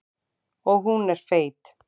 Og hún er feit.